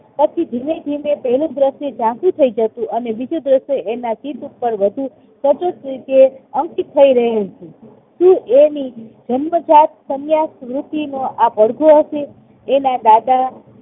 પછી ધીમે ધીમે પહેલું દ્રશ્ય ઝાંખું થઇ જતું અને બીજું દ્રશ્ય એના ચિત્ત ઉપર વધુ સતત રીતે અંકિત થઇ રહ્યું હતું શું એની જન્મજાત સંન્યાસરૂપીનો એ પડદો હશે? એના દાદા